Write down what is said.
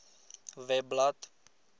webblad